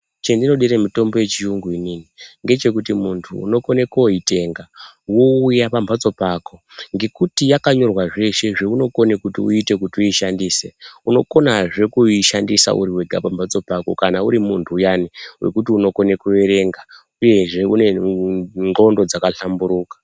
Chendinodire mitombo yechiyungu inini ngechekuti mundu unokone kuoyitenga wowuya pambatso pako ngekuti yakanyorwa zveshe zvounokone kuti uyite kuti uyishandise, unokonazve kushandisa uri wega pambatso pako kana uri mundu uyani wekuti unokone kuverenga uyezve une nxondo dzakahlamburuka.